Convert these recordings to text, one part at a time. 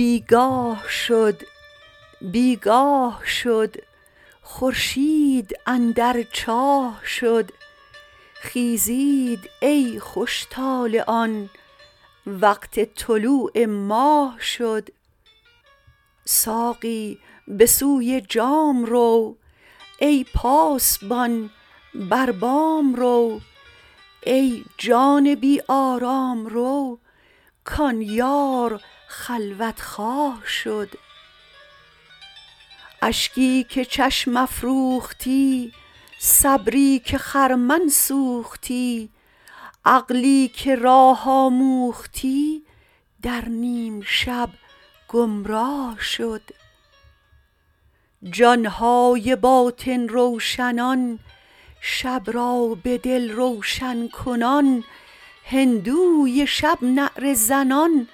بی گاه شد بی گاه شد خورشید اندر چاه شد خیزید ای خوش طالعان وقت طلوع ماه شد ساقی به سوی جام رو ای پاسبان بر بام رو ای جان بی آرام رو کان یار خلوت خواه شد اشکی که چشم افروختی صبری که خرمن سوختی عقلی که راه آموختی در نیم شب گمراه شد جان های باطن روشنان شب را به دل روشن کنان هندوی شب نعره زنان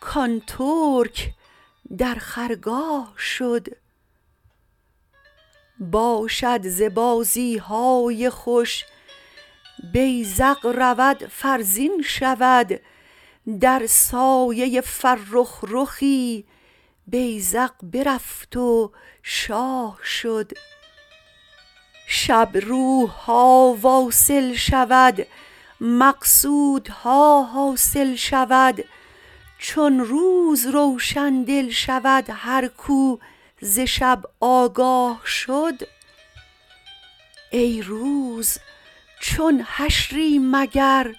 کان ترک در خرگاه شد باشد ز بازی های خوش بیذق رود فرزین شود در سایه فرخ رخی بیذق برفت و شاه شد شب روح ها واصل شود مقصودها حاصل شود چون روز روشن دل شود هر کو ز شب آگاه شد ای روز چون حشری مگر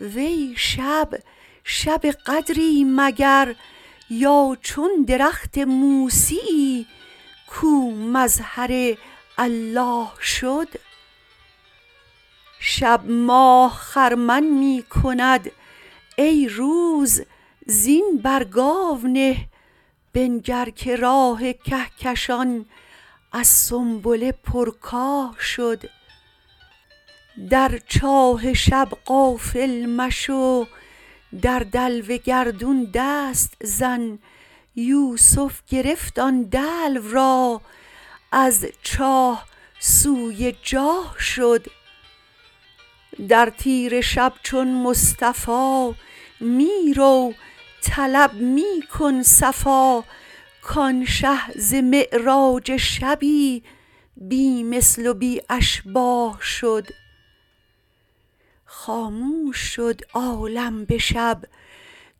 وی شب شب قدری مگر یا چون درخت موسیی کو مظهر الله شد شب ماه خرمن می کند ای روز زین بر گاو نه بنگر که راه کهکشان از سنبله پرکاه شد در چاه شب غافل مشو در دلو گردون دست زن یوسف گرفت آن دلو را از چاه سوی جاه شد در تیره شب چون مصطفی می رو طلب می کن صفا کان شه ز معراج شبی بی مثل و بی اشباه شد خاموش شد عالم به شب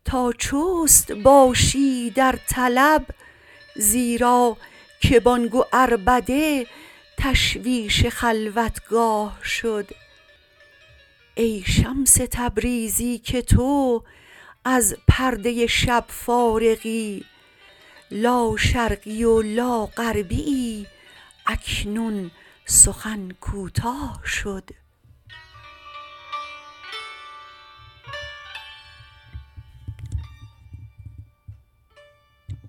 تا چست باشی در طلب زیرا که بانگ و عربده تشویش خلوتگاه شد ای شمس تبریزی که تو از پرده شب فارغی لاشرقی و لاغربیی اکنون سخن کوتاه شد